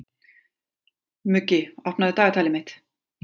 Muggi, opnaðu dagatalið mitt.